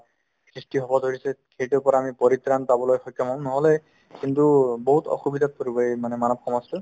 সৃষ্টি হ'ব ধৰিছে সেইটোৰ পৰা আমি পৰিত্ৰাণ পাবলৈ সক্ষম হ'ম নহ'লে কিন্তু বহুত অসুবিধাত পৰিব এই মানে মানব সমাজতো